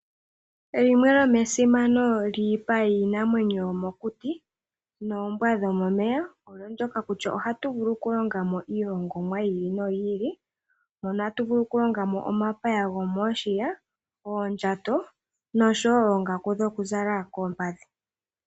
Limwe lyomesimano lyiipa yiinamwenyo yomokuti noombwa dhomomeya oyo ndyono kutya ohatu vulu okulongamo iilongomwa yi ili noyi ili mono tatu vulu okulongamo omapaya gomiishiya, oondjato nosho wo oongaku dhokuzala koompadhi.